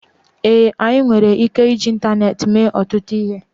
ee, anyị nwere ike iji ịntaneetị mee ọtụtụ ihe